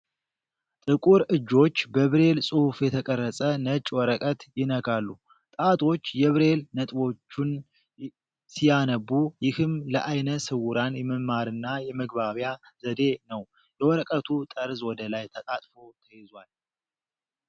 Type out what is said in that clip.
ጥቁር እጆች በብሬል ጽሑፍ የተቀረጸ ነጭ ወረቀት ይነካሉ። ጣቶች የብሬል ነጥቦቹን ሲያነቡ ፣ ይህም ለዓይነ ስውራን የመማርና የመግባቢያ ዘዴ ነው። የወረቀቱ ጠርዝ ወደ ላይ ተጣጥፎ ተይዟል።